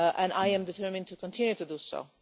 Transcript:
I am determined to continue to do so.